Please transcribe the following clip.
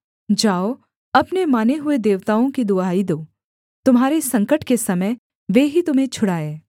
जाओ अपने माने हुए देवताओं की दुहाई दो तुम्हारे संकट के समय वे ही तुम्हें छुड़ाएँ